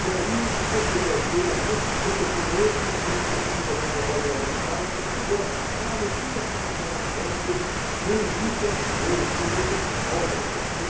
E aí, depois que eu dancei a música, esse professor novo, que não sabia que eu já estava no módulo avançado, ele falou, pois é, ah, não fica chateado não, porque no início é assim mesmo, depois você se solta, você